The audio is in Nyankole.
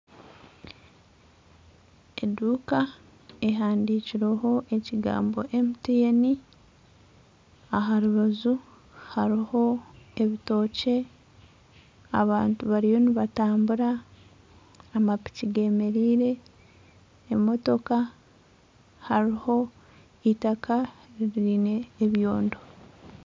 Eduuka ehandikirweho ekigambo MTN aha rubaju hariho ebitookye abantu bariyo nibatambura amapiki bemereire emootoka hariho eitaaka riine ebyondo